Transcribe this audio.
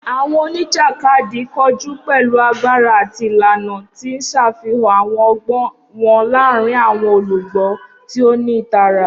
Awọn onijakadi koju pẹlu agbara ati ilana, ti n ṣafihan awọn ọgbọn wọn laaarin awọn olugbo ti o ni itara.